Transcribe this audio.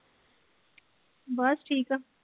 ਬਸ ਠੀਕ ਆ